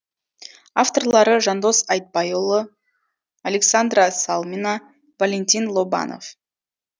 авторлары жандос айтбайұлы александра салмина валентин лобанов